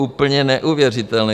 Úplně neuvěřitelné!